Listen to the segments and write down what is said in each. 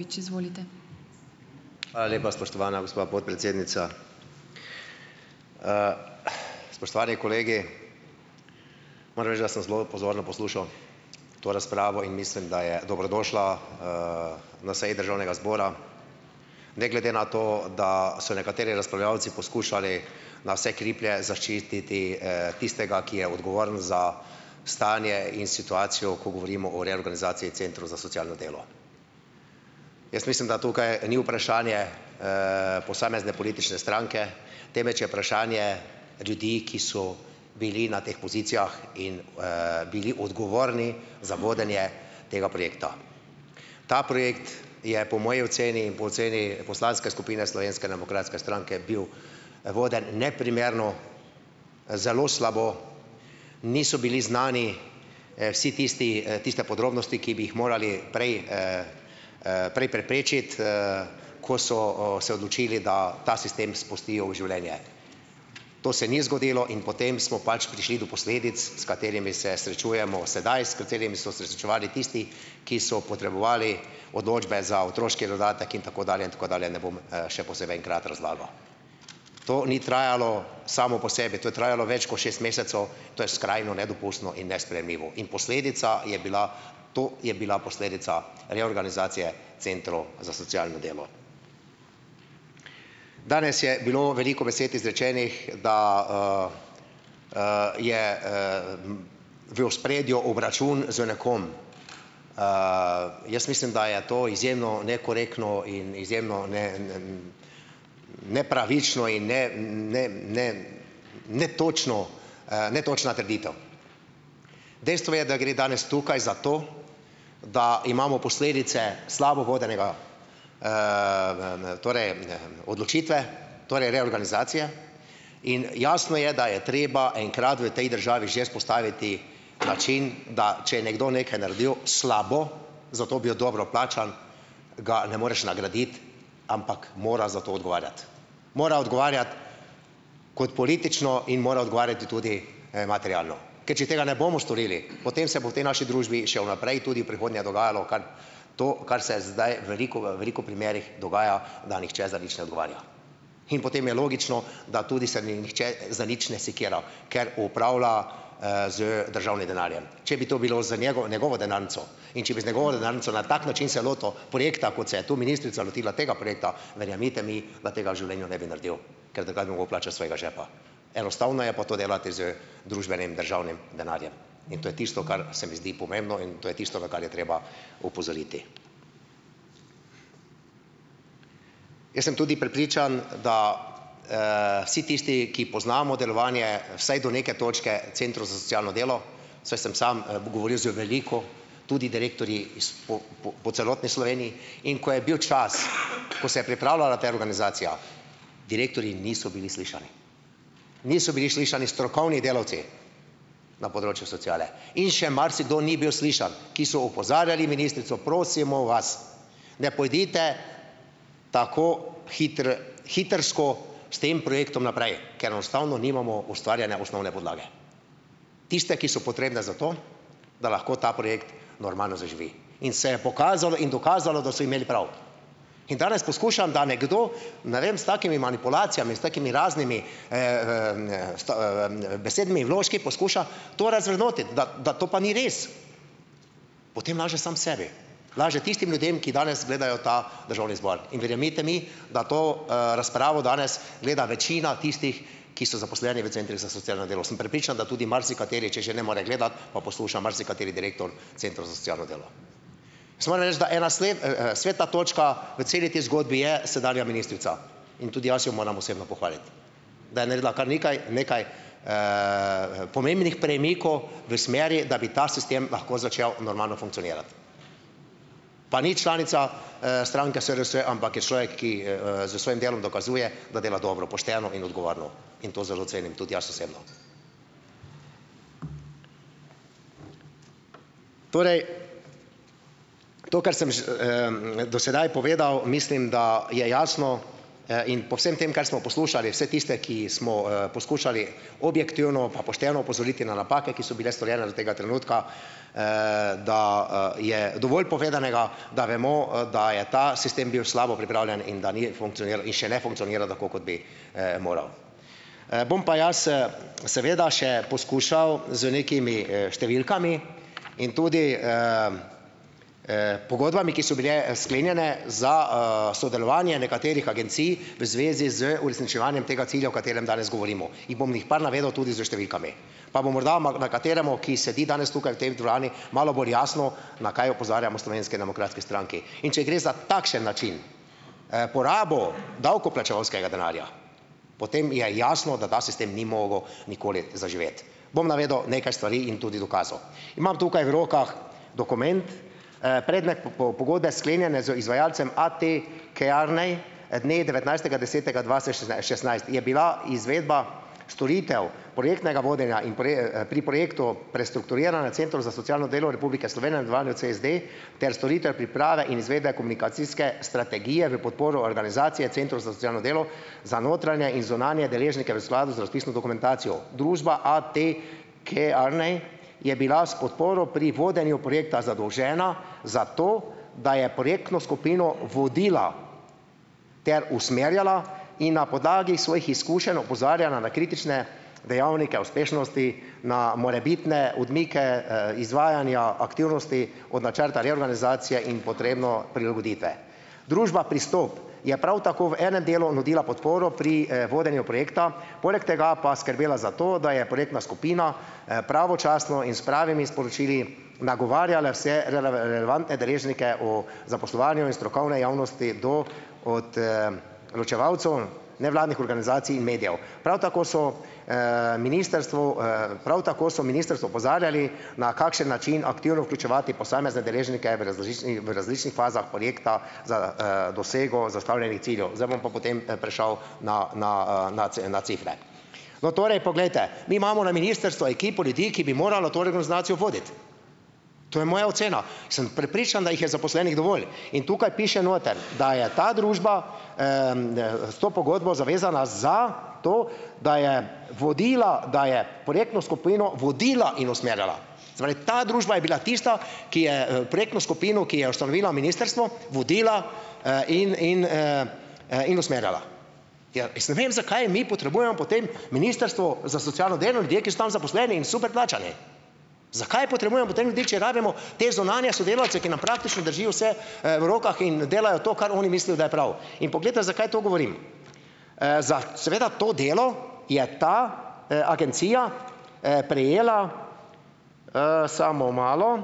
Hvala lepa, spoštovana gospa podpredsednica. Spoštovani kolegi. Moram reči, da sem zelo pozorno poslušal to razpravo in mislim, da je dobrodošla, na seji državnega zbora, ne glede na to, da so nekateri razpravljavci poskušali na vse kriplje zaščititi, tistega, ki je odgovoren za stanje in situacijo, ko govorimo o reorganizaciji centrov za socialno delo. Jaz mislim, da tukaj ni vprašanje, posamezne politične stranke, temveč je vprašanje ljudi, ki so bili na teh pozicijah in, bili odgovorni za vodenje tega projekta. Ta projekt je, po moji oceni in po oceni poslanske skupine Slovenske demokratske stranke, bil voden neprimerno, zelo slabo, niso bili znani, vsi tisti tiste podrobnosti, ki bi jih morali prej, prej preprečiti, ko so o se odločili, da ta sistem spustijo v življenje. To se ni zgodilo in potem smo pač prišli do posledic, s katerimi se srečujemo sedaj, s katerimi so se srečevali tisti, ki so potrebovali odločbe za otroški dodatek in tako dalje in tako dalje, ne bom, še posebej enkrat razlagal. To ni trajalo samo po sebi, to je trajalo več kot šest mesecev, to je skrajno nedopustno in nesprejemljivo. In posledica je bila, to je bila posledica reorganizacije centrov za socialno delo. Danes je bilo veliko besed izrečenih, da, je, v ospredju obračun z nekom. Jaz mislim, da je to izjemno nekorektno in izjemno, ne, ne, nepravično in ne ne ne netočno, netočna trditev. Dejstvo je, da gre danes tukaj zato, da imamo posledice slabo vodenega, torej, odločitve, torej reorganizacije, in jasno je, da je treba enkrat v tej državi že vzpostaviti način, da če je nekdo nekaj naredil slabo, zato bil dobro plačan, ga ne moreš nagraditi, ampak mora za to odgovarjati, mora odgovarjati kot politično in mora odgovarjati tudi materialno, ker če tega ne bomo storili, potem se bo v tej naši družbi še v naprej tudi v prihodnje dogajalo, kar, to, kar se zdaj veliko v veliko primerih dogaja, da nihče za nič ne odgovarja. In potem je logično, da tudi se nihče za nič ne sekira, ker upravlja, z državnim denarjem. Če bi to bilo z njegovo njegovo denarnico in če bi z njegovo denarnico na tak način se lotil projekta, kot se je tu ministrica lotila tega projekta, verjemite mi, da tega v življenju ne bi naredili, ker drugače bi mogel plačati iz svojega žepa. Enostavno je pa to delati z družbenim državnim denarjem. In to je tisto, kar se mi zdi pomembno, in to je tisto, na kar je treba opozoriti. Jaz sem tudi prepričan, da, si tisti, ki poznamo delovanje vsaj do neke točke centrov za socialno delo, saj sem sam govoril z veliko tudi direktorji iz po po celotni Sloveniji, in ko je bil čas, ko se je pripravljala ta reorganizacija, direktorji niso bili slišani, niso bili slišani strokovni delavci na področju sociale in še marsikdo ni bil slišan, ki so opozarjali ministrico: Prosimo vas, ne pojdite tako hitrsko s tem projektom naprej, ker enostavno nimamo ustvarjene osnovne podlage, tiste, ki so potrebne za to, da lahko ta projekt normalno zaživi." In se je pokazalo in dokazalo, da so imeli prav. In danes poskušam, da nekdo, ne vem, s takimi manipulacijami, s takimi raznimi, s besednimi vložki poskuša to razvrednotiti, da da to pa ni res, potem laže sam sebi, laže tistim ljudem, ki danes gledajo ta državni zbor. In verjemite mi, da to, razpravo danes gleda večina tistih, ki so zaposleni v centrih za socialno delo, sem prepričan, da tudi marsikateri, če že ne more gledati pa posluša, marsikateri direktor centrov za socialno delo. Jaz moram reči, da ena svetla točka v celi tej zgodbi je sedanja ministrica in tudi jaz jo moram osebno pohvaliti, da je naredila kar nekaj nekaj, pomembnih premikov v smeri, da bi ta sistem lahko začel normalno funkcionirati, pa ni članica, stranke SDS, ampak je človek, ki, s svojim delom dokazuje, da dela dobro, pošteno in odgovorno, in to zelo cenim tudi jaz osebno. To, kar sem že, do sedaj povedal, mislim, da je jasno, in po vsem tem, kar smo poslušali vse tiste, ki smo poskušali objektivno pa pošteno opozoriti na napake, ki so bile storjene do tega trenutka, da, je dovolj povedanega, da vemo, da je ta sistem bil slabo pripravljen in da ni da še ne funkcionira tako, kot bi, moral. Bom pa jaz seveda še poskušal z nekimi, številkami in tudi, pogodbami, ki so bile sklenjene za, sodelovanje nekaterih agencij v zvezi z uresničevanjem tega cilja, o katerem danes govorimo, jih bom jih bom par navedel tudi s številkami, pa bo morda nekateremu, ki sedi danes tukaj v tej dvorani, malo bolj jasno, na kaj opozarjamo v Slovenski demokratski stranki, in če gre za takšen način, porabo davkoplačevalskega denarja, potem je jasno, da ta sistem ni mogel nikoli zaživeti. Bom navedel nekaj stvari in tudi dokazal. Imam tukaj v rokah dokument, predmet pogodbe, sklenjene z izvajalcem A. T. Kearney dne devetnajstega desetega šestnajst, je bila izvedba storitev projektnega vodenja in pri projektu prestrukturiranja centrov za socialno delo Republike Slovenije, v nadaljevanju CSD, ter storitev priprave in izvedbe komunikacijske strategije v podporo organizacije centrov za socialno delo za notranje in zunanje deležnike v skladu z razpisno dokumentacijo. Družba A. T. Kearney je bila s podporo pri vodenju projekta zadolžena za to, da je projektno skupino vodila ter usmerjala in na podlagi svojih izkušenj opozarjala na kritične dejavnike uspešnosti, na morebitne odmike, izvajanja aktivnosti od načrta reorganizacije in potrebno prilagoditve. Družba Pristop je prav tako v enem delu nudila podporo pri, vodenju projekta, poleg tega pa skrbela za to, da je projektna skupina, pravočasno in s pravimi sporočili nagovarjala vse relevantne deležnike o zaposlovanju iz strokovne javnosti do ločevalcev nevladnih organizacij in medijev. Prav tako so, ministrstvu, prav tako so ministrstvo opozarjali, na kakšen način aktivno vključevati posamezne deležnike v v različnih fazah projekta za, dosego zastavljenih ciljev. Zdaj bom pa potem, prešel na na, na na cifre. No, torej, poglejte, mi imamo na ministrstvu ekipo ljudi, ki bi moralo to reorganizacijo voditi. To je moja ocena. Sem prepričan, da jih je zaposlenih dovolj in tukaj piše noter, da je ta družba, s to pogodbo zavezana za to, da je vodila, da je projektno skupino vodila in usmerjala. Se pravi, ta družba je bila tista, ki je, projektno skupino, ki jo je ustanovila ministrstvo, vodila, in in, in usmerjala. Ja, jaz ne vem, zakaj mi potrebujemo potem ministrstvo za socialno delo, ljudje, ki so tam zaposleni in super plačani? Zakaj potrebujemo potem ljudi, če rabimo te zunanje sodelavce, ki nam praktično držijo vse, v rokah in delajo to, kar oni mislijo, da je prav? In poglejte, zakaj to govorim? za seveda to delo je ta, agencija, prejela - samo malo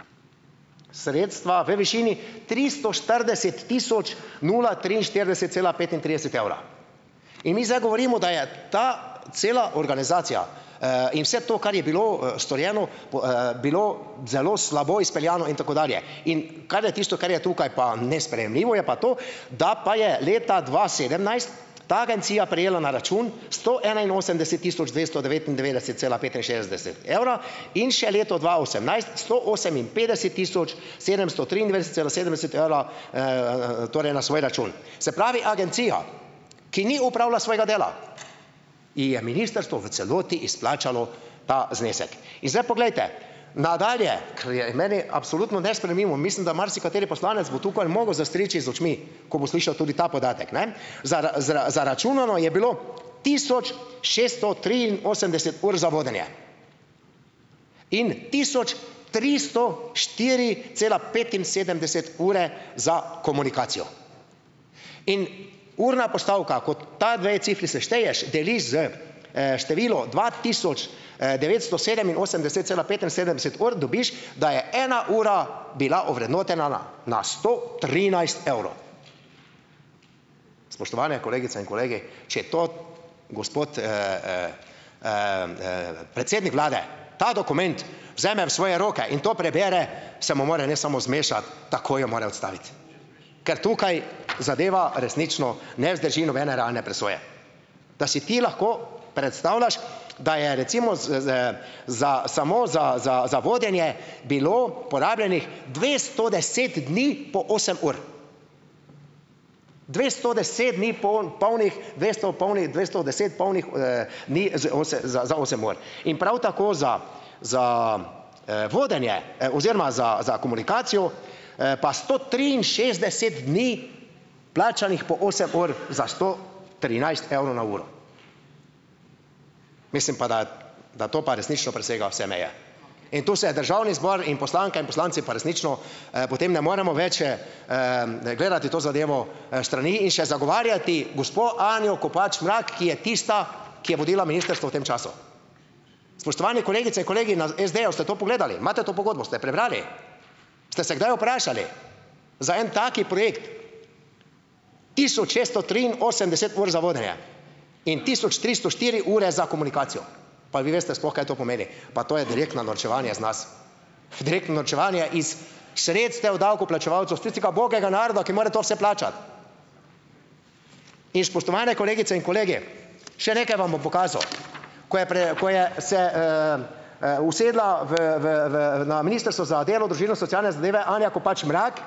- sredstva v višini tristo štirideset tisoč nula triinštirideset cela petintrideset evra. In mi zdaj govorimo, da je ta cela organizacija, in vse to, kar je bilo storjeno, bilo zelo slabo izpeljano in tako dalje. In kar je tisto, kar je tukaj pa nesprejemljivo, je pa to, da pa je leta dva sedemnajst ta agencija prejela na račun sto enainosemdeset tisoč dvesto devetindevetdeset cela petinšestdeset evra, in še leto dva osemnajst sto oseminpetdeset tisoč sedemsto triindvajset cela sedemdeset evra, torej na svoj račun. Se pravi, agencija, ki ni opravila svojega dela, ji je ministrstvo v celoti izplačalo ta znesek. In zdaj poglejte, nadalje, kar je meni absolutno nesprejemljivo, in mislim, da marsikateri poslanec bo tukaj mogel zastriči z očmi, ko bo slišal tudi ta podatek, ne Zaračunano je bilo tisoč šeststo triinosemdeset ur za vodenje in tisoč tristo štiri cela petinsedemdeset ure za komunikacijo. In urna postavka, ko ti dve cifri sešteješ, deliš s, številom dva tisoč, devetsto sedeminosemdeset cela petinsedemdeset ur dobiš, da je ena ura bila ovrednotena na na sto trinajst evrov. Spoštovane kolegice in kolegi, če to gospod, predsednik vlade, ta dokument vzame v svoje roke in to prebere, se mu mora ne samo zmešati, takoj jo mora odstaviti, ker tukaj zadeva resnično ne vzdrži nobene realne presoje. Da si ti lahko predstavljaš, da je recimo z z za samo za za za vodenje bilo porabljenih dvesto deset dni po osem ur. Dvesto deset dni, polnih dvesto polnih dvesto deset, polnih, dni z za za osem ur. In prav tako za za, vodenje, oziroma za za komunikacijo, pa sto triinšestdeset dni plačanih po osem ur za sto trinajst evrov na uro. Mislim pa, da da to pa resnično presega vse meje in tu se je državni zbor in poslanke in poslanci pa resnično, potem ne moremo več, gledati to zadevo, s strani in še zagovarjati gospo Anjo Kopač Mrak, ki je tista, ki je vodila ministrstvo v tem času. Spoštovani kolegice in kolegi na SD-ju, ste to pogledali? Imate to pogodbo? Ste jo prebrali? Ste se kdaj vprašali? Za en tak projekt tisoč šeststo triinosemdeset ur za vodenje in tisoč tristo štiri ure za komunikacijo. Pa vi veste sploh, kaj to pomeni? Pa to je direktno norčevanje iz nas! Direktno norčevanje iz sredstev davkoplačevalcev, iz tistega ubogega naroda, ki mora to vse plačati. In spoštovane kolegice in kolegi, še nekaj vam bom pokazal. Ko je ko je se, usedla v v v na Ministrstvo za delo, družino, socialne zadeve Anja Kopač Mrak,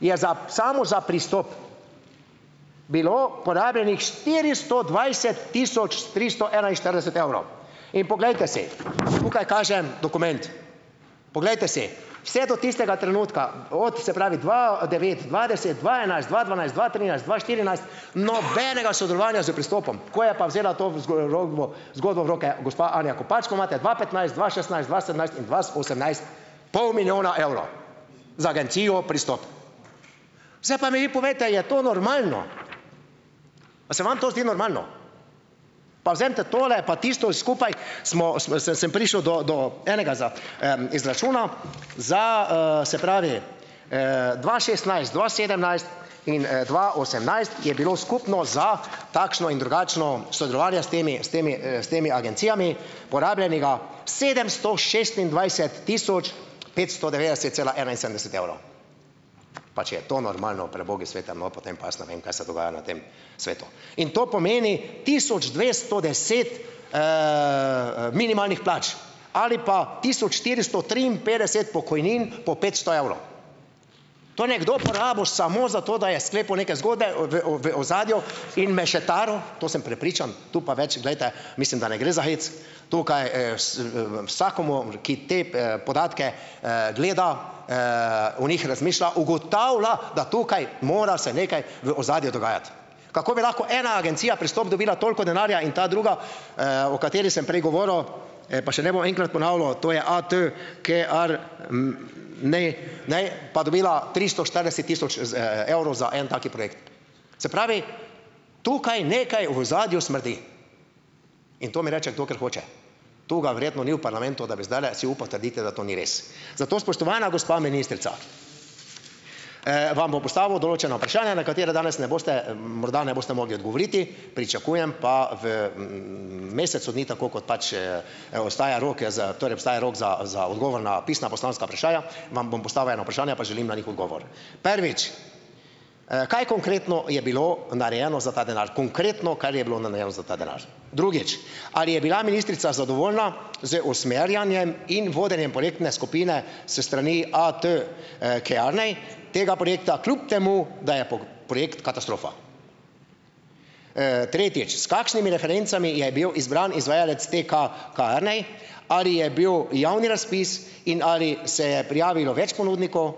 je za samo za Pristop bilo porabljenih štiristo dvajset tisoč tristo enainštirideset evrov in poglejte si - tukaj kažem dokument. Poglejte si, vse do tistega trenutka, od se pravi, dva devet, dva deset, dva enajst, dva dvanajst, dva trinajst, dva štirinajst, nobenega sodelovanja s Pristopom, ko je pa vzela to zgerodbo zgodbo v roke gospa Anja Kopač, pa imate dva petnajst, dva šestnajst, dva sedemnajst in dva osemnajst pol milijona evrov za agencijo Pristop. Zdaj pa mi vi povejte, je to normalno? A se vam to zdi normalno? Pa vzemite tole pa tisto skupaj, smo sem prišel do do enega izračuna - za, se pravi, dva šestnajst, dva sedemnajst in, dva osemnajst je bilo skupno za takšno in drugačno sodelovanje s temi s temi, s temi agencijami porabljenega sedemsto šestindvajset tisoč petsto devetdeset cela enainsedemdeset evra. Pa če je to normalno pri bogu svetem, no, potem pa jaz ne vem, kaj se dogaja na tem svetu. In to pomeni tisoč dvesto deset, minimalnih plač ali pa tisoč štiristo triinpetdeset pokojnin po petsto evrov. To je nekdo porabil samo za to, da je sklepal neke zgodbe v v v ozadju in mešetaril, to sem prepričan, tu pa več, glejte, mislim, da ne gre za hec. Tukaj, v vsakomur, ki te, podatke, gleda, o njih razmišlja, ugotavlja, da tukaj mora se nekaj v ozadju dogajati. Kako bi lahko ena agencija Pristop dobila toliko denarja in ta druga, o kateri sem prej govoril, pa še ne bom enkrat ponavljal, to je A. T. Kearney ne, ne pa dobila tristo štirideset tisoč z evrov za en tak projekt. Se pravi, tukaj nekaj v ozadju smrdi in to mi reče kdo kar hoče, tu ga verjetno ni v parlamentu, da bi zdajle si upal trditi, da to ni res. Zato spoštovana gospa ministrica, vam bom postavil določena vprašanja, na katera danes ne boste morda ne boste mogli odgovoriti, pričakujem pa v, mesecu dni tako kot pač, obstaja rok, za torej obstaja rok za za odgovor na pisna poslanska vprašanja, vam bom postavil ena vprašanja, pa želim na njih odgovor. Prvič, kaj konkretno je bilo narejeno za ta denar? Konkretno, kar je bilo narejeno za ta denar. Drugič, ali je bila ministrica zadovoljna z usmerjanjem in vodenjem projektne skupine s strani A. T., Kearney tega projekta, kljub temu, da je projekt katastrofa? Tretjič, s kakšnimi referencami je bil izbran izvajalec A. T Kearney? Ali je bil javni razpis in ali se je prijavilo več ponudnikov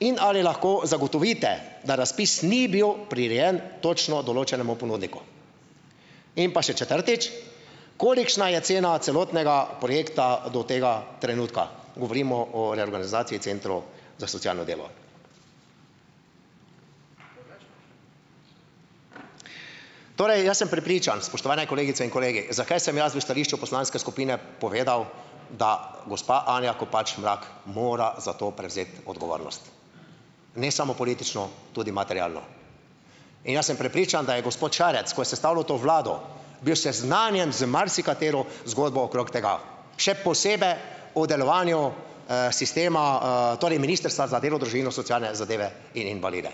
in ali lahko zagotovite, da razpis ni bil prirejen točno določenemu ponudniku? In pa še četrtič. Kolikšna je cena celotnega projekta do tega trenutka? Govorimo o reorganizaciji centrov za socialno delo? Torej jaz sem prepričan, spoštovane kolegice in kolegi, zakaj sem jaz v stališču poslanske skupine povedal, da gospa Anja Kopač Mrak mora za to prevzeti odgovornost, ne samo politično, tudi materialno. In jaz sem prepričan, da je gospod Šarec, ko je sestavljal to vlado, bil seznanjen z marsikatero zgodbo okrog tega, še posebej o delovanju, sistema, torej Ministrstva za delo, družino, socialne zadeve in invalide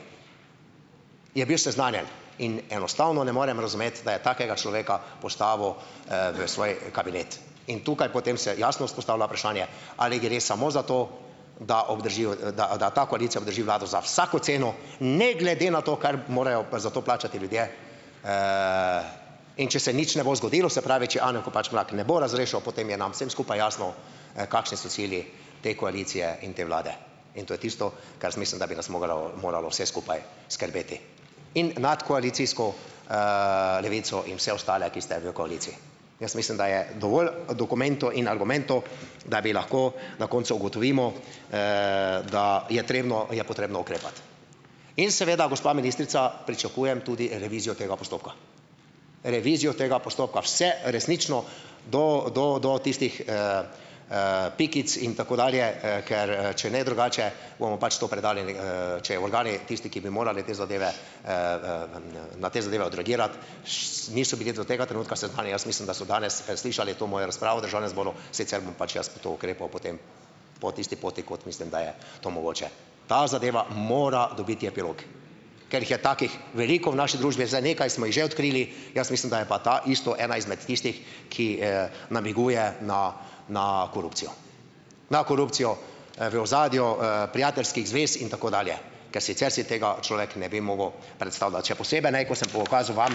- je bil seznanjen in enostavno ne morem razumeti, da je takega človeka postavil, v svoj kabinet in tukaj potem se jasno vzpostavlja vprašanje, ali gre samo za to, da obdržijo, da, da ta koalicija obdrži vlado za vsako ceno, ne glede na to, kar morajo za to plačati ljudje. In če se nič ne bo zgodilo, se pravi, če Anje Kopač Mrak ne bo razrešil, potem je nam vsem skupaj jasno, kakšni so cilji te koalicije in te vlade in to je tisto, kar jaz mislim, da bi nas mogalo moralo vse skupaj skrbeti in nadkoalicijsko, Levico in vse ostale, ki ste v koaliciji. Jaz mislim, da je dovolj dokumentov in argumentov, da bi lahko na koncu ugotovimo, da je trebno je potrebno ukrepati. In seveda, gospa ministrica, pričakujem tudi revizijo tega postopka, revizijo tega postopka, vse resnično do do do tistih, pikic in tako dalje, ker, če ne drugače, bomo pač to predali če organi tisti, ki bi morali te zadeve, na te zadeve odreagirati, niso bili do tega trenutka seznanjeni, jaz mislim, da so danes slišali to mojo razpravo v državnem zboru, sicer bom pač jaz to ukrepal potem po tisti poti kot mislim, da je to mogoče. Ta zadeva mora dobiti epilog, ker jih je takih veliko v naši družbi. Zdaj, nekaj smo jih že odkrili, jaz mislim, da je pa ta isto ena izmed tistih, ki, namiguje na na korupcijo - na korupcijo, v ozadju, prijateljskih zvez in tako dalje, ker sicer si tega človek ne bi mogel predstavljati. Še posebej ne, ko sem pokazal vam,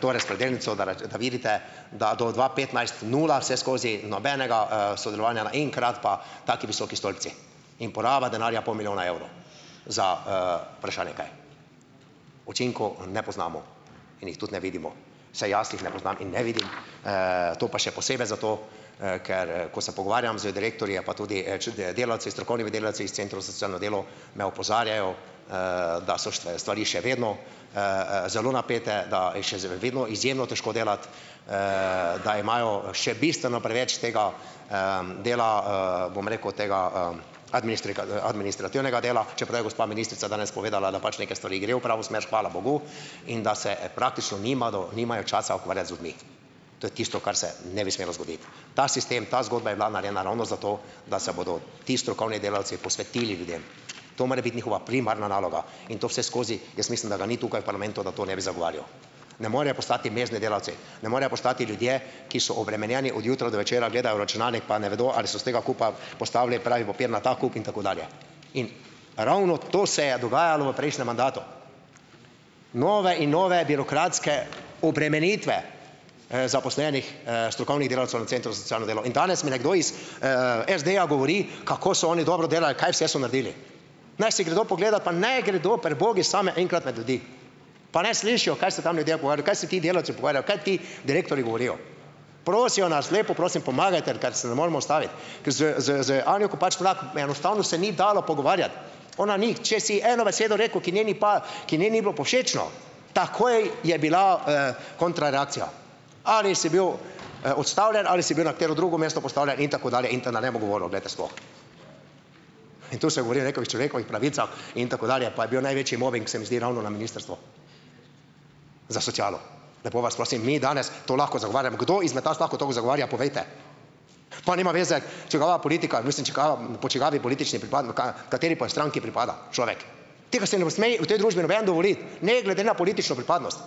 to razpredelnico, da rečete, da vidite, da do dva petnajst, nula vse skozi, nobenega, sodelovanja, naenkrat pa taki visoki stolpci in poraba denarja pol milijona evrov za, vprašanje kaj. Učinkov ne poznamo in jih tudi ne vidimo, vsaj jaz jih ne poznam in ne vidim, to pa še posebej zato, ker, ko se pogovarjam z direktorji, je pa tudi, strokovnimi, delavci delavci iz centrov za socialno delo, me opozarjajo, da so stvari še vedno, zelo napete, da je vedno izjemno težko delati, da imajo še bistveno preveč tega, dela, bom rekel, tega, administrativnega dela, čeprav je gospa ministrica danes povedala, da pač neke stvari grejo v pravo smer, hvala bogu, in da se praktično nimado nimajo časa ukvarjati z ljudmi. To je tisto, kar se ne bi smelo zgoditi. Ta sistem, ta zgodba je bila narejena ravno zato, da se bodo ti strokovni delavci posvetili ljudem. To mora biti njihova primarna naloga in to vseskozi, jaz mislim, da ga ni tukaj v parlamentu, da to ne bi zagovarjal. Ne morejo postati mezdni delavci, ne morejo postati ljudje, ki so obremenjeni od jutra do večera, gledajo v računalnik, pa ne vedo, ali so s tega kupa postavili pravi papir na ta kup in tako dalje. In ravno to se je dogajalo v prejšnjem mandatu - nove in nove birokratske obremenitve, zaposlenih, strokovnih delavcev na centru za socialno delo, in danes mi nekdo iz, SD-ja govori, kako so oni dobro delali, kaj vse so naredili. Naj si gredo pogledat, pa naj gredo pri bogu sami enkrat med ljudi, pa naj slišijo, kaj se tam ljudje pogovarjajo, kaj se ti delavci pogovarjajo, kaj ti direktorji govorijo. Prosijo nas, lepo prosim, pomagajte, ker se ne moremo ustaviti. Ker z z z Anjo Kopač Mrak enostavno se ni dalo pogovarjati. Ona ni, če si eno besedo rekel, ki njej ni ki njej ni bilo "povšečno", takoj je bila, kontra reakcija. Ali si bil, odstavljen, ali si bil na katero drugo mesto postavljen in tako dalje in ta, da ne bom govoril, glejte, sploh in tu se govori o nekovih človekovih pravicah in tako dalje, pa je bil največji mobing, se mi zdi, ravno na Ministrstvu za socialo. Lepo vas prosim, mi danes to lahko zagovarjamo, kdo izmed vas lahko to zagovarja, povejte? Pa nima veze, čigava politika, mislim čigava po čigavi politični ka kateri pa stranki pripada človek. Tega si ne sme v tej družbi noben dovoliti, ne glede na politično pripadnost,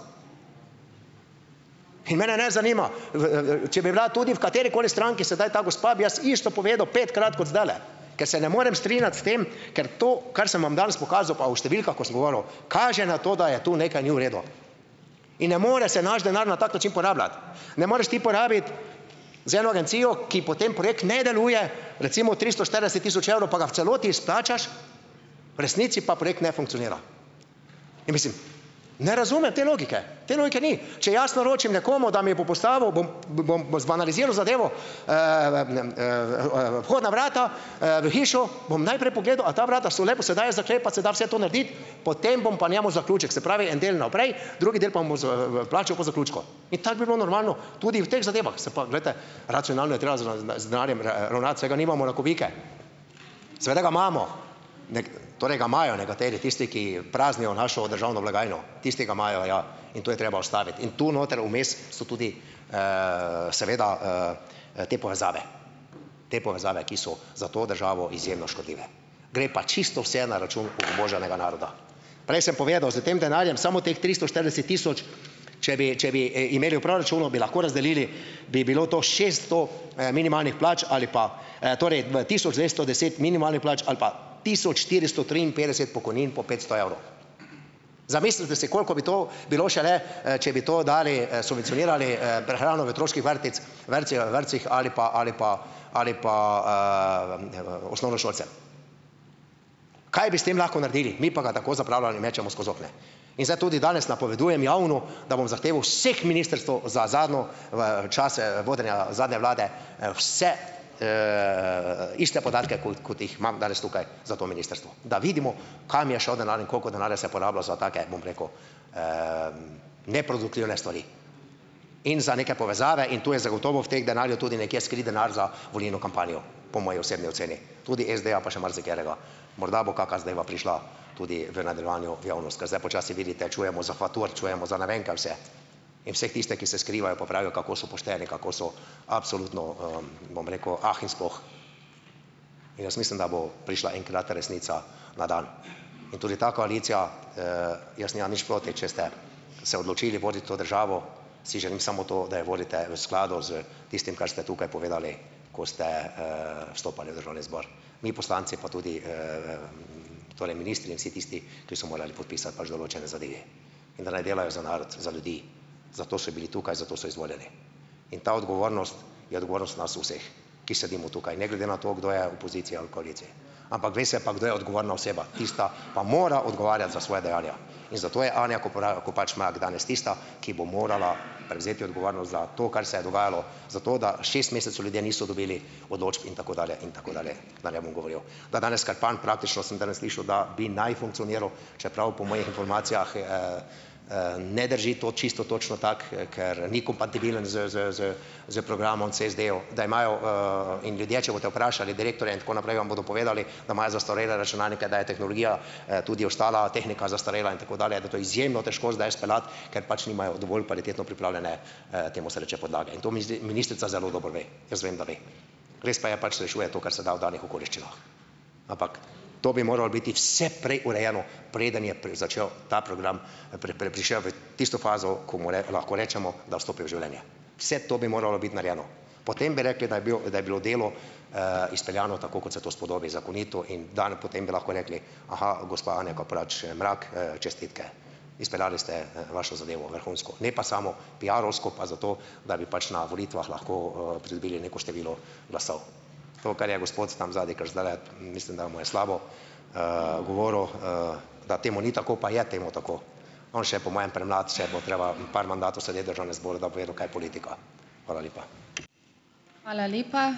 in mene ne zanima, v, če bi bila tudi v katerikoli stranki sedaj ta gospa, bi jaz isto povedal petkrat, kot zdajle, ker se ne morem strinjati s tem, ker to, kar sem vam danes pokazal, pa o številkah, ko sem govoril, kaže na to, da je to nekaj ni v redu. In ne more se naš denar na tak način porabljati, ne moreš ti porabiti za eno agencijo, ki potem projekt ne deluje, recimo tristo štirideset tisoč evrov, pa ga v celoti izplačaš, v resnici pa projekt ne funkcionira. Ja mislim, ne razumem te logike, te logike ni. Če jaz naročim nekomu, da mi bo postavil, bom bom zbanaliziral zadevo, vhodna vrata, v hišo, bom najprej pogledal, a ta vrata so lepo, se dajo zaklepati, se da vse to narediti, potem bom pa njemu zaključek, se pravi, en del naprej, drugi del pa mu z, plačal po zaključku. In tako bi bilo normalno, tudi v teh zadevah, se pa, glejte, racionalno je treba z z denarjem ravnati, saj ga nimamo na kubike. Seveda ga imamo, torej, ga imajo nekateri, tisti, ki praznijo našo državno blagajno, tisti ga imajo, ja, in to je treba ustaviti in tu noter vmes so tudi, seveda, te povezave. Te povezave, ki so za to državo izjemno škodljive. Gre pa čisto vse na račun obubožanega naroda. Prej sem povedal, s tem denarjem samo teh tristo štirideset tisoč, če bi če bi imeli v proračunu, bi lahko razdelili bi bilo to šesto, minimalnih plač ali pa, torej, tisoč dvesto deset minimalnih plač ali pa tisoč štiristo triinpetdeset pokojnin po petsto evrov. Zamislite si, koliko bi to bilo šele, če bi to dali, subvencionirali, prehrano v otroških vrtec vrtcih, vrtcih ali pa ali pa ali pa, osnovnošolce. Kaj bi s tem lahko naredili, mi pa ga tako zapravljali in, mečemo skozi okna. In zdaj tudi danes napovedujem, javno, da bom zahtevo vseh ministrstev za zadnjo čase vodenja zadnje vlade, vse, iste podatke, kot kot jih imam danes tukaj, za to ministrstvo, da vidimo, kam je šel denar in koliko denarja se je porabilo za take, bom rekel, neproduktivne stvari in za neke povezave in tu je zagotovo v teh denarju tudi nekje skrit denar za volilno kampanjo, po moji osebni oceni, tudi SD-ja pa še marsikaterega. Morda bo kaka zadeva prišla tudi v nadaljevanju v javnost, ker zdaj počasi vidite, čujemo za Fatur, čujemo za ne vem kaj vse in vse tiste, ki se skrivajo, pa pravijo, kako so pošteni, kako so absolutno, bom rekel, ah in sploh. In jaz mislim, da bo prišla enkrat resnica na dan in tudi ta koalicija, jaz nimam nič proti, če ste se odločili voditi to državo, si želim samo to, da jo vodite v skladu s tistim, kar ste tukaj povedali, ko ste, stopali v državni zbor. Mi poslanci pa tudi, torej ministri in vsi tisti, ki so morali podpisati pač določene zadeve, in da naj delajo za narod, za ljudi. Zato so bili tukaj, za to so izvoljeni. In ta odgovornost je odgovornost nas vseh, ki sedimo tukaj, ne glede na to, kdo je v poziciji ali koaliciji. Ampak ve se pa, kdo je odgovorna oseba, tista pa mora odgovarjati za svoja dejanja in zato je Anja Kopač Mrak danes tista, ki bo morala prevzeti odgovornost za to, kar se je dogajalo, za to, da šest mesecev ljudje niso dobili odločb, in tako dalje in tako dalje, da ne bom govoril. Da danes Krpan praktično, sem zdajle slišal, da bi naj funkcioniral, čeprav po mojih informacijah, ne drži to čisto točno tako, ker ni kompatibilen s s s s programom CSD-jev, da imajo, in ljudje, če boste vprašali direktorja in tako naprej, vam bodo povedali, da imajo zastarele računalnike, da je tehnologija, tudi ostala, tehnika zastarela, in tako dalje da je to izjemno težko zdaj speljati, ker pač nimajo dovolj kvalitetno pripravljene, temu se reče podlage, in to ministrica zelo dobro ve. Jaz vem, da ve. Res pa je, pač rešuje to, kar se da v danih okoliščinah, ampak to bi moralo biti vse prej urejeno, preden je začel ta progam, prišel v tisto fazo, ko mu lahko rečemo, da vstopi v življenje. Vse to bi moralo biti narejeno. Potem bi rekli, da je bil, da je bilo delo, izpeljano tako, kot se to spodobi, zakonito in dano. Potem bi lahko rekli: "Aha, gospa Anja Kopač Mrak, čestitke, izpeljali ste vašo zadevo vrhunsko, ne pa samo piarovsko pa zato, da bi pač na volitvah lahko, pridobili neko število glasov." To, kar je gospod tam zadaj, kar zdajle mislim, da mu je slabo, govoril, da temu ni tako, pa je temu tako. On še je po mojem premlad, še bo treba par mandatov sedeti v državnem zboru, da bo vedel, kaj je politika. Hvala lepa.